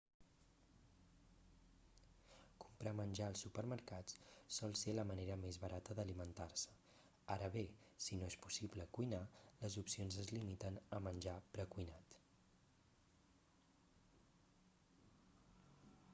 comprar menjar als supermercats sol ser la manera més barata d'alimentar-se ara bé si no és possible cuinar les opcions es limiten a menjar precuinat